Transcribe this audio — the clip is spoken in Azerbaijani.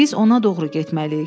Biz ona doğru getməliyik.